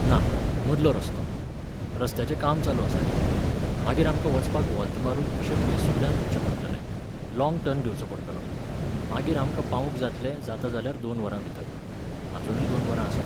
ना, मदलो रस्तो. रस्त्याचें काम चालू आसा न्ही. मागीर आमकां वचपाक व्हॉल्त मारून अशें पयसुल्ल्यान वच्चें पडटलें, लॉंग टर्न घेवचो पडटलो, मागीर आमका पावूंक जातलें जाता जाल्यार दोन वरां भितर, अजूनूय दोन वरां आसात.